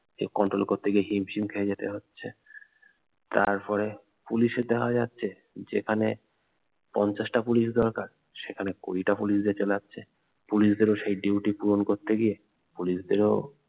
এ control করতে গিয়ে হিমশিম খেয়ে যেতে হচ্ছে তারপরে পুলিশ এর দেখা যাচ্ছে যেখানে পঞ্চাশ টা পুলিশ দরকার সেখানে কুড়ি টা পুলিশ দিয়ে চালাচ্ছে পুলিশদের ও সেই duty পূরণ করতে গিয়ে পুলিশদের ও